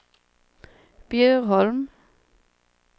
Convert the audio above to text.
Bjurholm